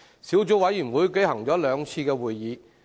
小組委員會舉行了兩次會議。